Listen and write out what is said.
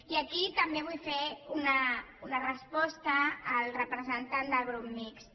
i aquí també vull fer una resposta al representant del grup mixt